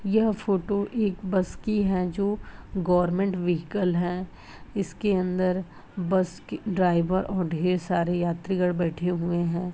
यह फोटो एक बस की है जो गवर्नमेंट व्हीकल है। इसके अन्दर बस ड्राइवर और बहुत सारे यात्रीगढ़ बैठे हुए हैं।